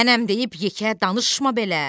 Mənəm deyib yekə danışma belə!